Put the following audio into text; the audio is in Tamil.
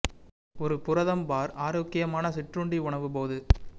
ஒரு புரதம் பார் ஆரோக்கியமான சிற்றுண்டி உணவு போது